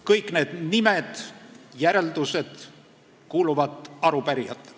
Kõik need nimed ja järeldused kuuluvad arupärijatele.